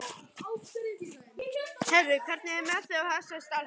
Heyrðu, hvernig er með þig og þessa stelpu?